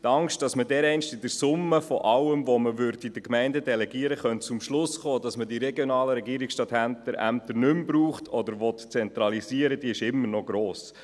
Die Angst, dass man dereinst mit der Summe von allem, was man an die Gemeinden delegieren kann, zum Schluss kommen würde, dass man die regionalen Regierungsstatthalterämter nicht mehr braucht oder zentralisieren will, ist immer noch gross.